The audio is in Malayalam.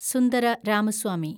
സുന്ദര രാമസ്വാമി